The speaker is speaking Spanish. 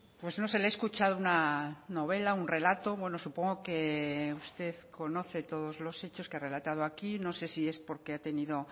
pues no sé le he escuchado una novela un relato bueno supongo que usted conoce todos los hechos que ha relatado aquí no sé si es porque ha tenido